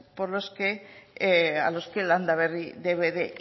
de los que landaberri debe de